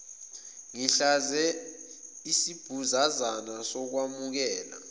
ngihlabe isibhuzazana sokukwamukela